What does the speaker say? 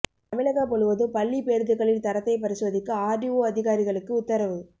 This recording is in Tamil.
தமிழகம் முழுவதும் பள்ளிப் பேருந்துகளின் தரத்தை பரிசோதிக்க ஆர்டிஓ அதிகாரிகளுக்கு உத்தரவு